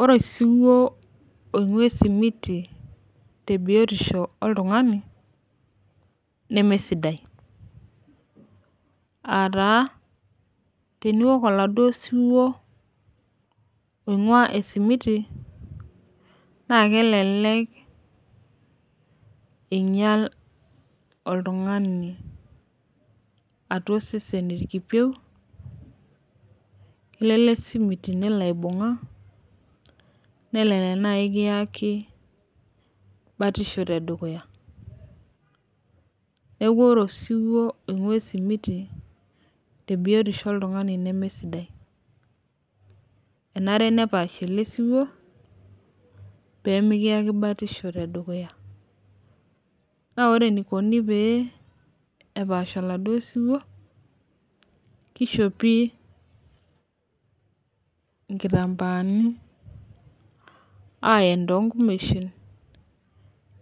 Ore osiwuo oinguaa esimiti tebiotisho oltungani nemesidai, aataa teniwuok eladuo osiwuo oinguaaa esimiti naa kelelek einyal oltungani atua isesen ikipieu ale esimiti nelo aibunga, nelelek nai ekieki batisho te dukuya. Neeku ore osiwuo oinguaa esimiti te biotisho oltungani nemee sidai enare nepaashi ele siwuo pemekiyeki batisho te dukuya, naa ore neikoni pee epaashi eladuo siwuo, keishopi nkitambaani ayen too nkumeshin